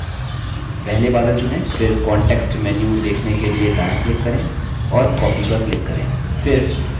पहले बादल चुनें फिर context menu देखने के लिए दायाँ click करें और copy पर click करें